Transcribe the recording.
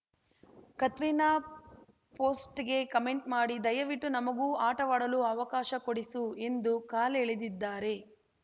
ಕತ್ರಿನಾ ಪೋಸ್ಟ್‌ಗೆ ಕಮೆಂಟ್‌ ಮಾಡಿ ದಯವಿಟ್ಟು ನಮಗೂ ಆಟವಾಡಲು ಅವಕಾಶ ಕೊಡಿಸು ಎಂದು ಕಾಲೆಳೆದಿದ್ದಾರೆ